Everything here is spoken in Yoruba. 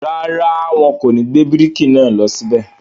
rárá, wọn kò ní gbé bíríkì náà lọ síbẹ̀.